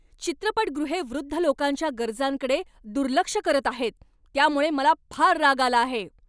चित्रपटगृहे वृद्ध लोकांच्या गरजांकडे दुर्लक्ष करत आहेत त्यामुळे मला फार राग आला आहे.